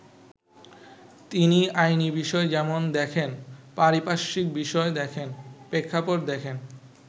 তিনি আইনি বিষয় যেমন দেখেন, পারিপার্শ্বিক বিষয় দেখেন, প্রেক্ষাপট দেখেন।